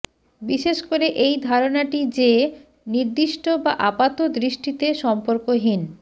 বিশেষ করে এই ধারণাটি যে নির্দিষ্ট বা আপাতদৃষ্টিতে সম্পর্কহীন